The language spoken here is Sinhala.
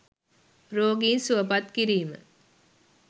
“රෝගීන් සුවපත් කිරීම”